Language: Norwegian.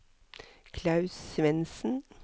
Klaus Svendsen